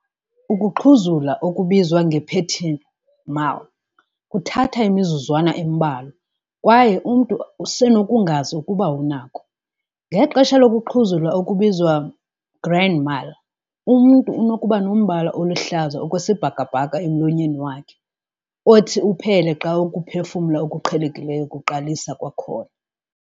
Ukuxhuzula okubizwa nge-petit mal kuthatha imizuzwana embalwa, kwaye umntu usenokungazi ukuba unako. Ngexesha lokuxhuzula okubizwa nge-grand mal, umntu unokuba nombala oluhlaza okwesibhakabhaka emlonyeni wakhe, othi uphele xa ukuphefumla okuqhelekileyo kuqalisa kwakhona.